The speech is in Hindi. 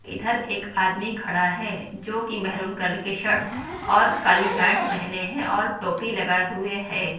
इधर एक आदमी खड़ा है जो कि मेहरून कलर की शर्ट और काली पैंट पहने हैं और टोपी लगाए हुए है।